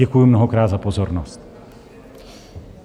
Děkuji mnohokrát za pozornost.